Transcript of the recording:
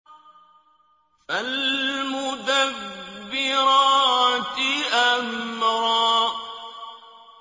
فَالْمُدَبِّرَاتِ أَمْرًا